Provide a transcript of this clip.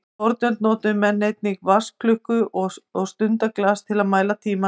Í fornöld notuðu menn einnig vatnsklukku og stundaglas til að mæla tímann.